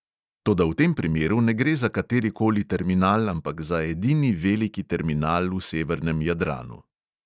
Toda v tem primeru ne gre za kateri koli terminal, ampak za edini veliki terminal v severnem jadranu.